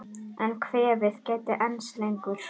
En kvefið gæti enst lengur.